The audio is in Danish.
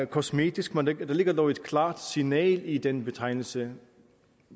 kosmetisk men der ligger dog et klart signal i den betegnelse